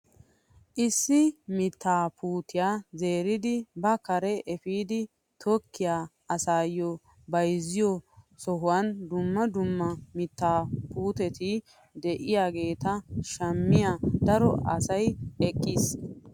Issi mittaa puutiyaa zeridi ba kare epiidi tokkiyaa asayoo bayzziyoo sohuwan dumma dumma mittaa puutetti de'iyaageta shammiyaa daro asay eqqis!